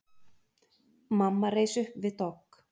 Mamma reis upp við dogg.